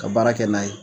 Ka baara kɛ n'a ye